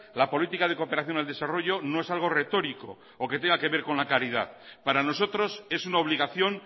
la política de cooperación al desarrollo no es algo retórico o que tenga que ver con la caridad para nosotros es una obligación